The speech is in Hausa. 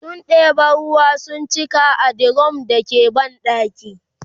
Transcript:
sun ɗeba ruwa sun cika a dirum da ke banɗakin